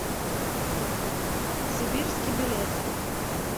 сибирский билет